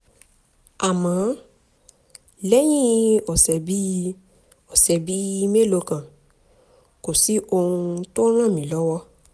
àmọ́ lẹ́yìn ọ̀sẹ̀ bíi ọ̀sẹ̀ bíi mélòó kan kò sí ohun tó ràn mí lọ́wọ́